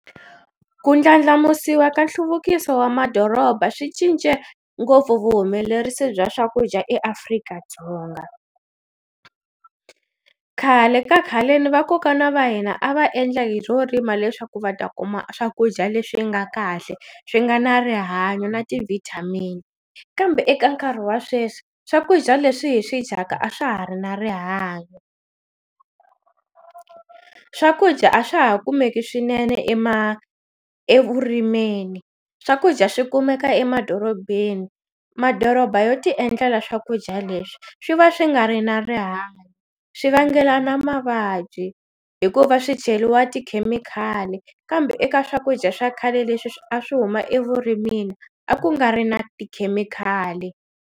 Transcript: Ku ndlandlamusiwa ka nhluvukiso wa madoroba swi cince ngopfu vuhumelerisi bya swakudya eAfrika-Dzonga. Khale ka khaleni vakokwana va hina a va endla hi swo rima leswaku va ta kuma swakudya leswi nga kahle swi nga na rihanyo na ti-vitamin kambe eka nkarhi wa sweswi swakudya leswi hi swi dyaka a swa ha ri na rihanyo swakudya a swa ha kumeki swinene evurimeni swakudya swi kumeka emadorobeni madoroba yo ti endlela swakudya leswi swi va swi nga ri na rihanyo swi vangelana mavabyi hikuva swi cheliwa tikhemikhali kambe eka swakudya swa khale leswi a swi huma evurimini a ku nga ri na tikhemikhali.